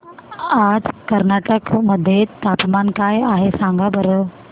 आज कर्नाटक मध्ये तापमान काय आहे सांगा बरं